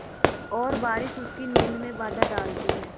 और बारिश उसकी नींद में बाधा डालती है